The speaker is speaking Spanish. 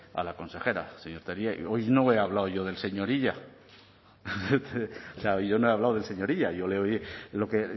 a la consejera señor tellería hoy no he hablado yo del señor illa o sea yo no he hablado del señor illa